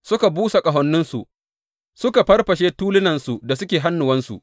Suka busa ƙahoninsu, suka farfashe tulunansu da suke hannuwansu.